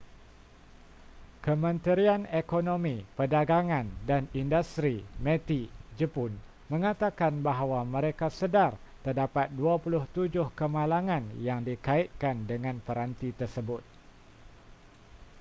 kementerian ekonomi perdagangan dan industri meti jepun menyatakan bahawa mereka sedar terdapat 27 kemalangan yang dikaitkan dengan peranti tersebut